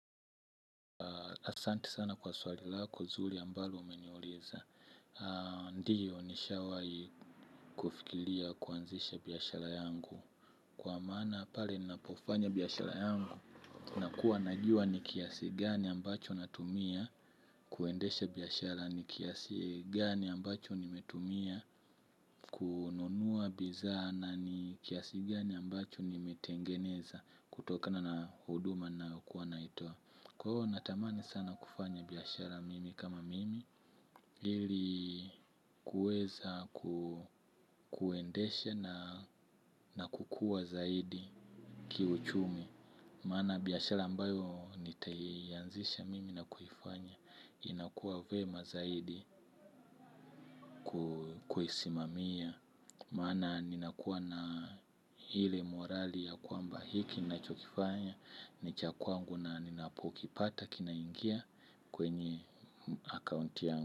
Asante sana kwa swali lako, zuri ambalo umeniuliza. Ndiyo nishawahi kufikiria kuanzisha biashara yangu. Kwa maana pale ninapofanya biashara yangu nakuwa najua ni kiasi gani ambacho natumia kuendesha biashara ni kiasi gani ambacho nimetumia kununua bidhaa na ni kiasi gani ambacho nimetengeneza kutokana na huduma na kuwa naitoa. Kwa hiyo natamani sana kufanya biashara mimi kama mimi ili kuweza kuendesha na kukua zaidi kiuchumi. Maana biashara ambayo nitaianzisha mimi na kuifanya inakuwa vyema zaidi kuisimamia. Maana ninakuwa na ile morali ya kwamba hiki ninachokifanya ni cha kwangu na ninapokipata kinaingia kwenye akaunti yangu.